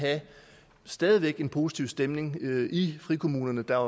stadig væk en positiv stemning i frikommunerne der